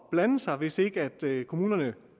blande sig hvis ikke kommunerne